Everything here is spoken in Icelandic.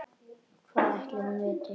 Hvað ætli hún viti?